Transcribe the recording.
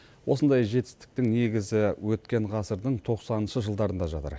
осындай жетістіктің негізі өткен ғасырдың тоқсаныншы жылдарында жатыр